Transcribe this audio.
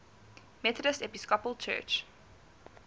methodist episcopal church